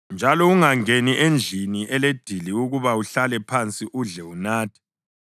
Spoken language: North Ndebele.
Njalo ungangeni endlini eledili ukuba uhlale phansi udle unathe.